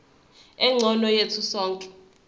engcono yethu sonke